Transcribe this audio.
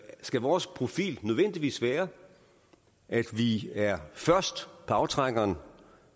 skal vores profil nødvendigvis være at vi er først på aftrækkeren